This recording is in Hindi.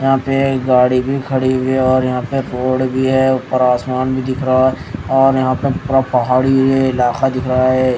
यहां पे गाड़ी भी खड़ी हुई है और यहां पे बोर्ड भी है ऊपर आसमान भी दिख रहा है और यहां पे पूरा पहाड़ी एरिया इलाका दिख रहा है।